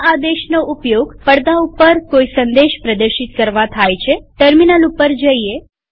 આ આદેશનો ઉપયોગ પડદા ઉપર કોઈ સંદેશ પ્રદર્શિત કરવા થાય છેટર્મિનલ ઉપર જઈએ